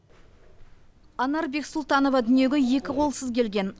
анар бексұлтанова дүниеге екі қолсыз келген